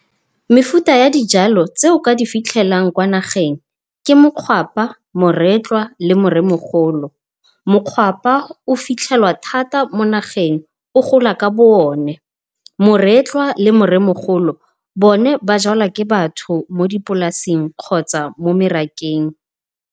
Mefuta ya dijalo tse o ka di fitlhelang kwa nageng, ke mokgwapa moretlwa le moremogolo. Mokgwapa o fitlhelwa thata mo nageng o gola ka bo one. Moretlwa le moremogolo bone ba jalwa ke batho mo dipolaseng kgotsa mo merakeng.